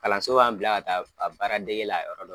Kalanso b'an bila ka taa a baara dege la yɔrɔ dɔ la.